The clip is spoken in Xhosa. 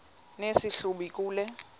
nesi hlubi kule